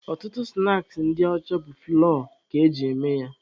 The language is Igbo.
Ọtụtụ snaakị ndị ọcha bụ fụlọọ ka eji eme ya.